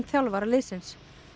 þjálfara liðsins